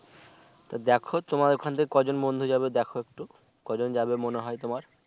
তা দেখো তোমার ওখান থেকে কয় জন বন্ধু যাবে দেখো একটু কয়জন যাবে মনে হয় তোমার?